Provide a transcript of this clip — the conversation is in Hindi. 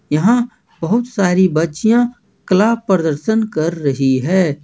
यहां बहुत सारी बच्चियां कला प्रदर्शन कर रही है।